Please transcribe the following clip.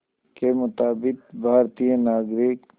के मुताबिक़ भारतीय नागरिक